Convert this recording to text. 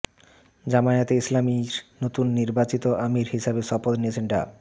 জামায়াতে ইসলামীর নতুন নির্বাচিত আমির হিসেবে শপথ নিয়েছেন ডা